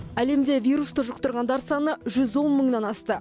әлемде вирусты жұқтырғандар саны жүз он мыңнан асты